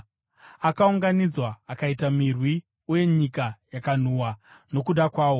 Akaunganidzwa akaita mirwi uye nyika yakanhuhwa nokuda kwawo.